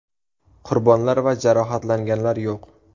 Qurbonlar va jarohatlanganlar yo‘q.